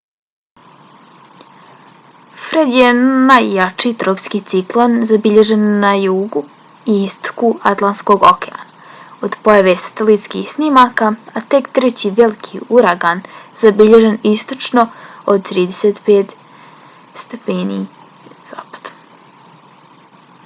fred je najjači tropski ciklon zabilježen na jugu i istoku atlantskog okeana od pojave satelitskih snimaka a tek treći veliki uragan zabilježen istočno od 35°z